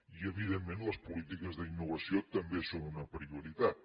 i evidentment les polítiques d’innovació també són una prioritat